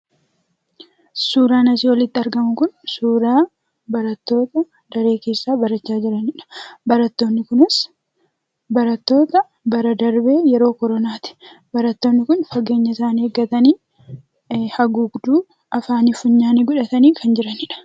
Suuraan asii olitti argamu Kun, suuraa barattoota daree keessaa barachaa jiraniidha. Barattoonni kunis, barattoota bara darbee yeroo koronaati. Barattoonni kun fageenya isaanii eegatanii, haguugduu afaanii fi funyaanii godhatanii kan jiranidha.